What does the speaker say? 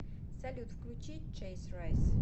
салют включи чейс райс